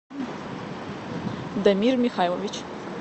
дамир михайлович